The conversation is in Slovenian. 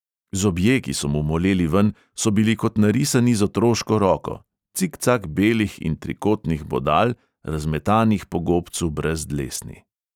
Zobje, ki so mu moleli ven, so bili kot narisani z otroško roko, cikcak belih in trikotnih bodal, razmetanih po gobcu brez dlesni.